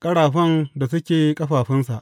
ƙarafan da suke ƙafafunsa.